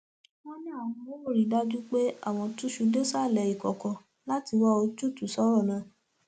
wọn ní àwọn ò rí i dájú pé àwọn túṣu désàlẹ ìkọkọ láti wá ojútùú sọrọ náà